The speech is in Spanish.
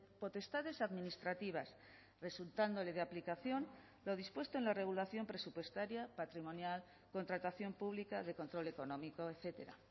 potestades administrativas resultándole de aplicación lo dispuesto en la regulación presupuestaria patrimonial contratación pública de control económico etcétera